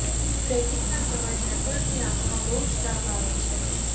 ટ્રેકિંગના સમયે હેકર્સની આંખોમાં બહુ જ તાપ આવે છે